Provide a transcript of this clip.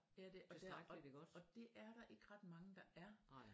Ja og det og det er der ikke ret mange der er